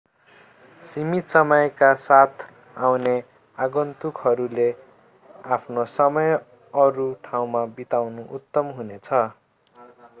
सीमित समयका साथ आउने आगन्तुकहरूले आफ्नो समय अरू ठाउँमा बिताउनु उत्तम हुनेछ